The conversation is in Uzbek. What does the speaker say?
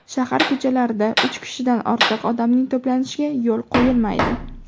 Shahar ko‘chalarida uch kishidan ortiq odamning to‘planishiga yo‘l qo‘yilmaydi.